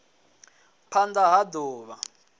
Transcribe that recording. phand a ha d uvha